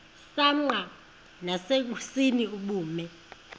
msanqa nasenkosini ubume